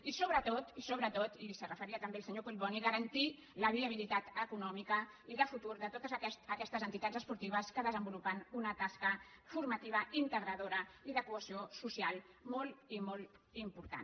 i sobretot i sobretot i s’hi referia també el senyor collboni garantir la viabilitat econòmica i de futur de totes aquestes entitats esportives que desenvolupen una tasca formativa integradora i de cohesió social molt i molt important